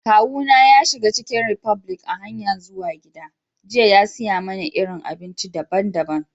Kawu na ya shiga chicken republic a'hanyan zuwa gida jiya ya siya mana irin abinci dabban-dabban.